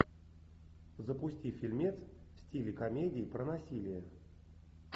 запусти фильмец в стиле комедии про насилие